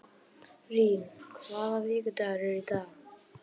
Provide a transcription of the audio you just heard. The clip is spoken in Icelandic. Rín, hvaða vikudagur er í dag?